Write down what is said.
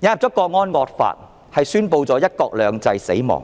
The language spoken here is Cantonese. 引入了《港區國安法》是宣布了"一國兩制"死亡。